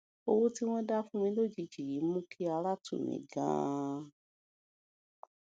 owó tí wón dá fún mi lójijì yìí mú kí ara tù mí ganan